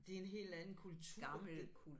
Det er en helt anden kultur det